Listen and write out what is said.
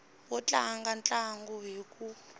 wo tlanga ntlangu hi ku